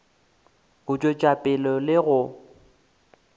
go tšwetša pele le go